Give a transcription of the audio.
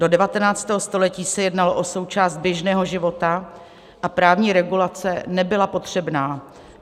Do 19. století se jednalo o součást běžného života a právní regulace nebyla potřebná.